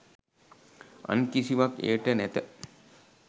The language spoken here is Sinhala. අන් කිසිවක් එයට නැත.